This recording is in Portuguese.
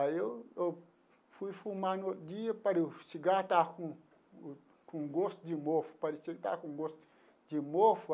Aí eu eu fui fumar no outro dia, parecia que o cigarro estava com com gosto de mofo, parecia que estava com gosto de mofo.